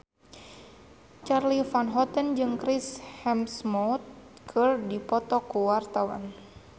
Charly Van Houten jeung Chris Hemsworth keur dipoto ku wartawan